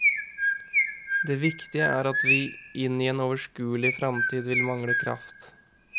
Det viktige er at vi inn i en overskuelig fremtid vil mangle kraft.